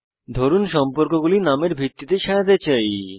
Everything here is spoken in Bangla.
ধরুন সম্পর্কগুলি নামের ভিত্তিতে সাজাতে চাই